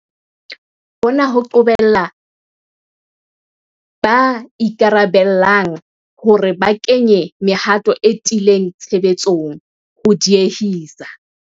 Hona ho qobelletse ba ikarabellang hore ba kenye mehato e tiileng tshebetsong, ho diehisa.